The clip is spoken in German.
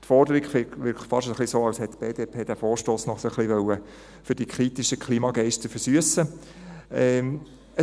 Die Forderung wirkt fast so, als hätte die BDP den Vorstoss noch ein wenig für die kritischen Klimageister versüssen wollen.